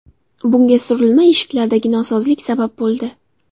Bunga surilma eshiklardagi nosozlik sabab bo‘ldi.